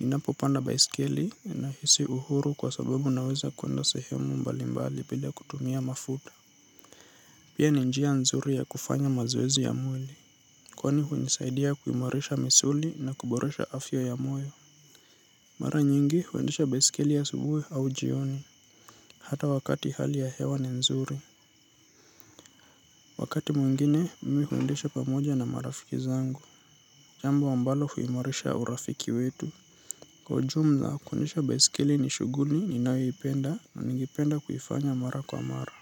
Ninapopanda baiskeli ninahisi uhuru kwa sababu naeza kuenda sehemu mbalimbali bila kutumia mafuta. Pia ninjia nzuri ya kufanya mazoezi ya mweli. Kwani hunisaidia kuimoresha misuli na kuboresha afya ya moyo. Mara nyingi huendesha baisikeli asubuhu au jioni. Hata wakati hali ya hewa ni nzuri. Wakati mwingine mimi huundesha pamoja na marafiki zangu jambo ambalo huimarisha urafiki wetu kwa ujumla kuendesha baiskeli ni shuguli ni nayo ipenda na ningependa kuifanya mara kwa mara.